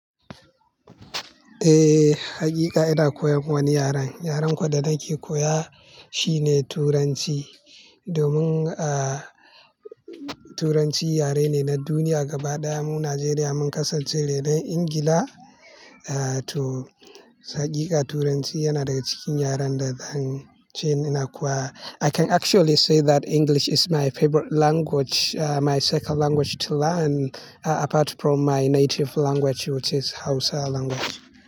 Eh, haƙiƙa ina koyan wani yaren. Yaren kuwa da nake koya shine Turanci. Domin, ah, Turanci yare ne na duniya gaba ɗaya. Mu Najeriya mun kasance rainon Ingila. Ah, to hakika Turanci yana daga cikin yaren da zan ce ina na kowa. I can actually say that English is my favorite language, ah, my second language to learn apart from my native language which is Hausa language.